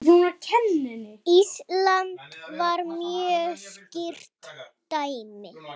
Ísland var mjög skýrt dæmi.